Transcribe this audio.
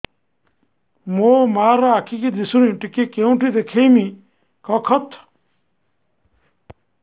ମୋ ମା ର ଆଖି କି ଦିସୁନି ଟିକେ କେଉଁଠି ଦେଖେଇମି କଖତ